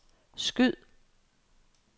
skyd